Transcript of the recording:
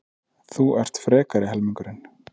Þú ert frekari helmingurinn.